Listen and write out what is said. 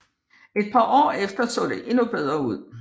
Et par år efter så det endnu bedre ud